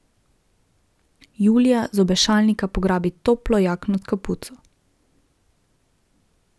Julija z obešalnika pograbi toplo jakno s kapuco.